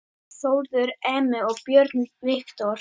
Þórður Emi og Björn Viktor